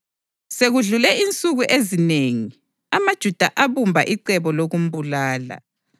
Sekudlule insuku ezinengi amaJuda abumba icebo lokumbulala,